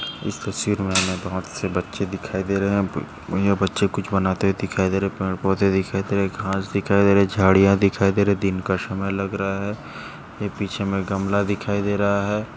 इस तस्वीर मे हमे बहोत से बच्चे दिखाई दे रहे है ब भैया बच्चे कुछ बनाते हुये दिखाई दे रहे है पेड़ पौंधे दिखाई दे रहे है घास दिखाई दे रहे है झाडीया दिखाई दे रहे है दिन का समय लग रहा है पीछे मे गमला दिखाई दे रहा है।